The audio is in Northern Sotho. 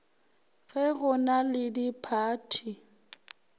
ge go na le diphathi